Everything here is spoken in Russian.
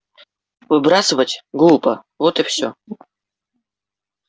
выбрасывать глупо вот и все